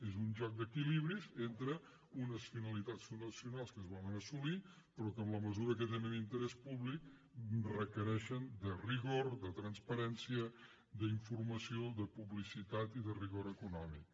és un joc d’equilibris entre unes finalitats fundacionals que es volen assolir però que en la mesura que tenen interès públic requereixen rigor transparència informació publicitat i rigor econòmic